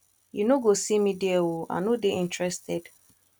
you no go see me there oo i no dey interested